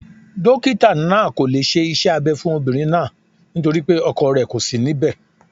Dokita naa ko le se ise Abe fun Obinrin naa naa ;nitori pe ọkọ rẹ ko si níbè